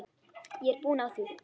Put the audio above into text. Ég er búin á því.